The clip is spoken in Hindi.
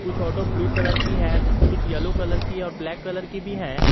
कुछ ऑटो ब्लू कलर की है तो कुछ येलो कलर की और ब्लैक कलर की भी है।